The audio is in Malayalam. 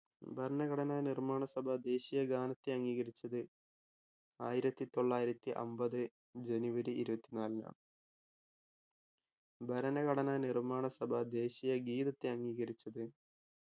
ഭരണഘടനാ നിർമ്മാണ സഭ ദേശീയ ഗാനത്തെ അംഗീകരിച്ചത് ആയിരത്തി തൊള്ളായിരത്തി അമ്പത് ജനുവരി ഇരുപത്തി നാലിനാണ് ഭരണഘടനാ നിർമ്മാണ സഭ ദേശീയ ഗീതത്തെ അംഗീകരിച്ചത്